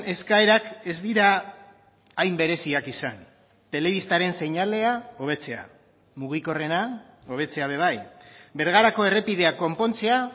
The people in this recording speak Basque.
eskaerak ez dira hain bereziak izan telebistaren seinalea hobetzea mugikorrena hobetzea ere bai bergarako errepidea konpontzea